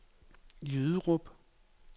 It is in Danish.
Jyderup